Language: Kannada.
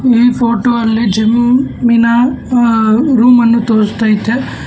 ಈ ಫೋಟೋ ಅಲ್ಲಿ ಜಮ್ಮಿನ ರೂಮನ್ನು ತೋರಿಸ್ತಾ ಐತೆ.